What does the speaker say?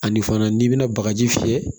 Ani fana n'i bɛna bagaji fiyɛ